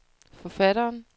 forfatteren